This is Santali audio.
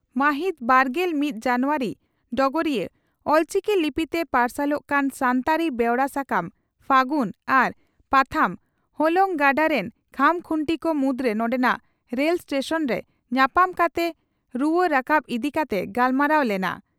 ᱢᱟᱦᱤᱛ ᱵᱟᱨᱜᱮᱞ ᱢᱤᱛ ᱡᱟᱱᱩᱣᱟᱨᱤ (ᱰᱚᱜᱚᱨᱤᱭᱟᱹ) ᱺ ᱚᱞᱪᱤᱠᱤ ᱞᱤᱯᱤᱛᱮ ᱯᱟᱨᱥᱟᱞᱚᱜ ᱠᱟᱱ ᱥᱟᱱᱛᱟᱲᱤ ᱵᱮᱣᱨᱟ ᱥᱟᱠᱟᱢ 'ᱯᱷᱟᱹᱜᱩᱱ' ᱟᱨ ᱯᱟᱛᱷᱟᱢ 'ᱦᱚᱞᱚᱝ ᱜᱟᱰᱟ' ᱨᱤᱱ ᱠᱷᱟᱢᱠᱷᱩᱱᱴᱤ ᱠᱚ ᱢᱩᱫᱽᱨᱮ ᱱᱚᱰᱮᱱᱟᱜ ᱨᱮᱞ ᱥᱴᱮᱥᱚᱱᱨᱮ ᱧᱟᱯᱟᱢ ᱠᱟᱛᱮ ᱨᱩᱣᱟᱹ ᱨᱟᱠᱟᱵ ᱤᱫᱤ ᱠᱟᱛᱮ ᱜᱟᱯᱟᱞᱢᱟᱨᱟᱣ ᱞᱮᱱᱟ ᱾